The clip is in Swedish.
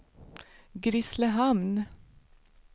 Grisslehamn